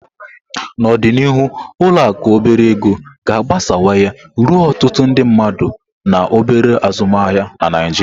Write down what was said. N'ọdịnihu, ụlọ akụ obere ego ga-agbasawanye ruo ọtụtụ ndị mmadụ na obere azụmaahịa na Naijiria.